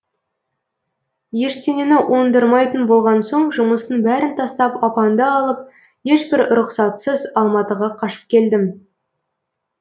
ештеңені оңдырмайтын болған соң жұмыстың бәрін тастап апаңды алып ешбір рұқсатсыз алматыға қашып келдім